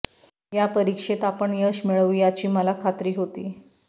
या परीक्षेत आपण यश मिळवू याची मला खात्री होती